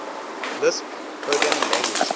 lisp programming language